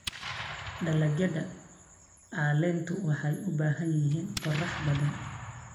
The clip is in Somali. Dalagyada caleentu waxay u baahan yihiin qorrax badan.